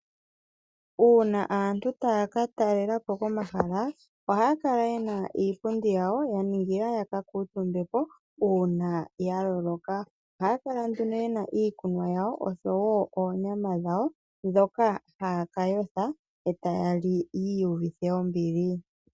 Uuna aantu taya ka talelapo komahala ohaya kala yena iipundi yawo ya ningila ya ka kuuntumbepo uuna ya loloka. Ohaya kala nduno yena iikunwa yawo oshowo oonyama dhawo ndhoka haya ka yotha etaya li yi iyuvithe ombili.